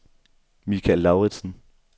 Mikael Lauritzen